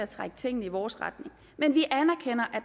trække tingene i vores retning men vi anerkender